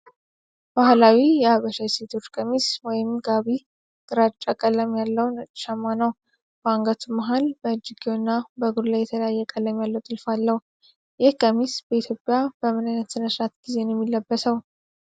ባህላዊ የሐበሻ የሴቶች ቀሚስ ወይም ጋቢ ግራጫ ቀለም ያለው ነጭ ሸማ ነው። በአንገቱ፣ መሃል፣ በእጅጌው እና በእግሩ ላይ የተለያየ ቀለም ያለው ጥልፍ አለው። ይህ ቀሚስ በኢትዮጵያ በምን አይነት ሥነ ሥርዓት ጊዜ ነው የሚለበሰው?